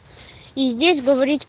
и здесь говорить